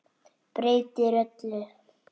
Breytir öllu.